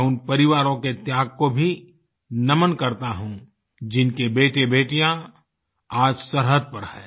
मैं उन परिवारों के त्याग को भी नमन करता हूँ जिनके बेटेबेटियाँ आज सरहद पर हैं